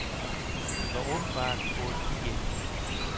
De var åbenbart gået lige ind.